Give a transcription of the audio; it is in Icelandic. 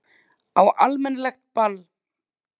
Á almennilegt ball.